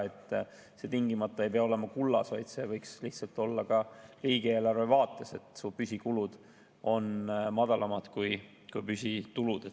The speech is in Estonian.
See ei pea tingimata olema kullas, vaid see võiks lihtsalt olla ka riigieelarve vaates, et püsikulud on madalamad kui püsitulud.